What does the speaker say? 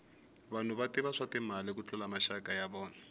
vanhu va tiva swa timali ku tlula maxaka ya vona